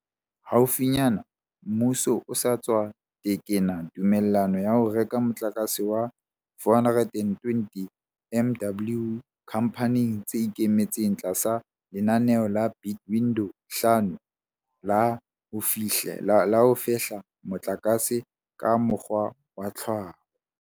Haufinyane, mmuso o sa tswa tekena tumellano ya ho reka motlakase wa 420 MW dikhamphaneng tse ikemetseng tlasa lenaneo la Bid Window 5 la ho fehla motlakase ka mokgwa wa tlhaho.